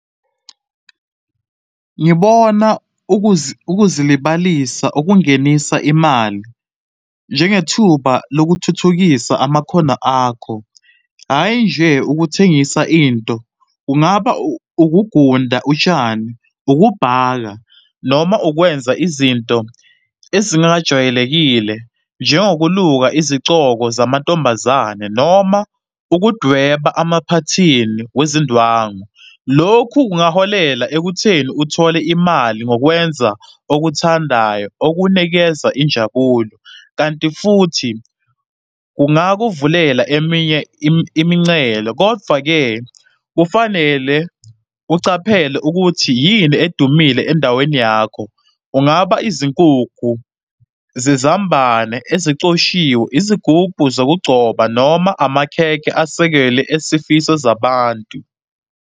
Ngibona ukuzilibalisa okungenisa imali njengethuba lokuthuthukisa amakhono akho, hhayi nje ukuthengisa into. Kungaba ukugunda utshani, ukubhaka, noma ukwenza izinto ezingajwayelekile njengokuluka izicoko zamantombazane, noma ukudweba emaphathini wezindwangu. Lokhu kungaholela ekutheni uthole imali ngokwenza okuthandayo okunikeza injabulo, kanti futhi kungakuvulela eminye imincele. Kodvwa-ke kufanele ucaphele ukuthi yini edumile endaweni yakho. Kungaba izinkukhu zezambane ezicoshiwe, izigubhu zokugcoba noma amakhekhe asekele esifiso zabantu.